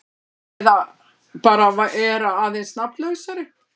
Eða bara vera aðeins nafnlausari.